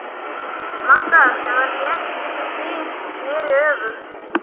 Magga, sem var létt eins og fis, sneri öfugt.